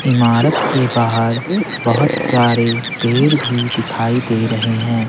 इमारत के बाहर बहुत सारे पेर भी दिखाई दे रहे हैं।